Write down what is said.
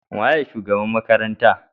Wanene shugaban makarantar?